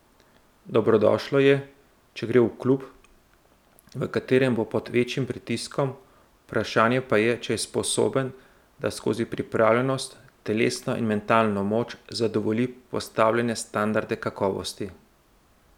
Dobrodošlo je, če gre v klub, v katerem bo pod večjim pritiskom, vprašanje pa je, če je sposoben, da skozi pripravljenost, telesno in mentalno moč zadovolji postavljene standarde kakovosti.